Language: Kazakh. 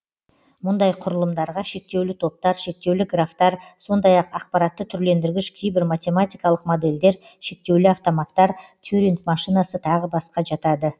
мұндай құрылымдарға шектеулі топтар шектеулі графтар сондай ақ ақпаратты түрлендіргіш кейбір матемематикалық модельдер шектеулі автоматтар тьюринг машинасы тағы басқа жатады